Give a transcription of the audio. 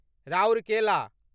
Rourkela